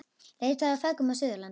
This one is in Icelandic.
Leitað að feðgum á Suðurlandi